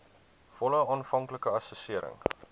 volle aanvanklike assessering